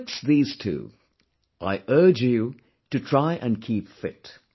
Betwixt these two I urge you to try & keep fit